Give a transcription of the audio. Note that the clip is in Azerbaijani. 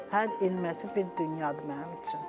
Hər ilməsi bir dünyadır mənim üçün.